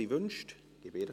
– Sie wünscht es.